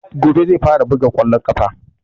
Gobe zai fara buga ƙwallon ƙafa